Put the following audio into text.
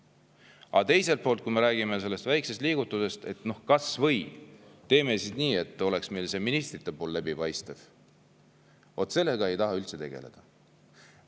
Aga teiselt poolt, kui me räägime sellest väikesest liigutusest, et teeme kas või nii, et ministrite oleks läbipaistvad, vot siis sellega ei taheta üldse tegeleda.